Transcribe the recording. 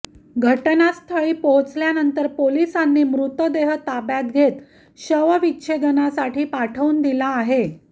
घटनास्थळी पोहोचल्यानंतर पोलिसांनी मृतदेह ताब्यात घेत शवविच्छेदनासाठी पाठवून दिला आहे